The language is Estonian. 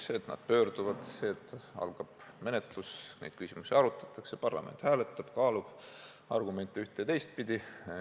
Siis nad pöörduvad, algab menetlus, neid küsimusi arutatakse, parlament hääletab, kaalub argumente ühte- ja teistpidi.